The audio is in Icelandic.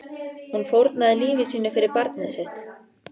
Hún fórnaði lífi sínu fyrir barnið sitt.